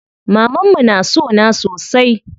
Mamanmu na sona sosai.